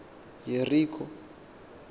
yerikho